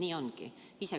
Nii ongi.